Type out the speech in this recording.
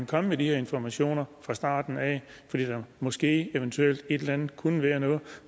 komme med de her informationer fra starten af fordi der måske eventuelt et eller andet kunne være noget